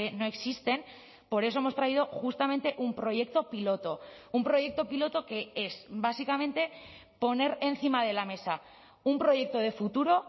no existen por eso hemos traído justamente un proyecto piloto un proyecto piloto que es básicamente poner encima de la mesa un proyecto de futuro